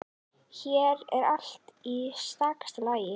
Hér er allt í stakasta lagi.